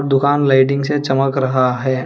दुकान लाइटिंग से चमक रहा है।